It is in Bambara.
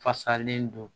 Fasalen don